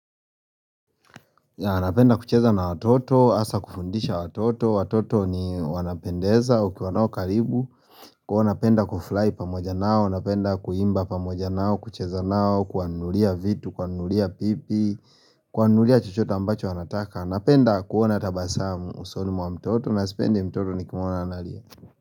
Napenda kucheza na watoto, hasa kufundisha watoto, watoto ni wanapendeza ukiwa nao karibu huwa napenda kufurahi pamoja nao, napenda kuimba pamoja nao, kucheza nao, kuwanunulia vitu, kuwanunulia pipi kuwanunulia chochote ambacho wanataka, napenda kuona tabasamu usoni mwa mtoto, na sipendi mtoto nikimwona analia.